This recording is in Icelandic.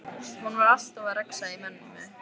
Hún var alltaf að rexa í mömmu.